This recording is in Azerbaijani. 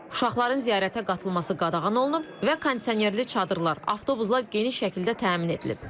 Uşaqların ziyarətə qatılması qadağan olunub və kondisionerli çadırlar, avtobuslar geniş şəkildə təmin edilib.